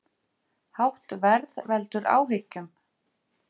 Hátt verð veldur áhyggjum